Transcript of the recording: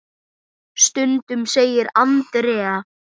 Stundum segir Andrea.